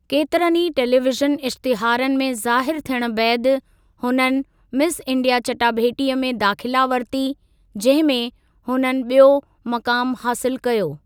केतरनि ई टेलीविज़न इश्तिहारनि में ज़ाहिरु थियणु बैदि, हुननि मिस इंडिया चटाभेटीअ में दाख़िला वरिती, जंहिं में हुननि बि॒यो मक़ामु हासिलु कयो।